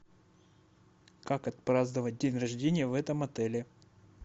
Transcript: как отпраздновать день рождения в этом отеле